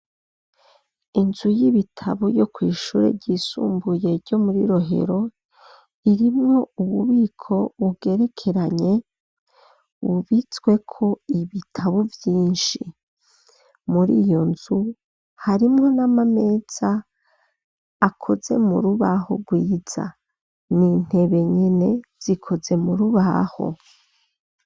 Inzu y'ibitabo yo kw'ishure ryisumbuye ryo mwi Rohero irimwo ububiko bugerekeranye bubitsweko ibitabo vyinshi. Muri iyo nzu harimwo n'ama meza akoze mu rubaho rwiza n'intebe nyene zikoze mu rubaho